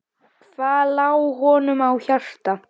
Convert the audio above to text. Hvað lá honum á hjarta?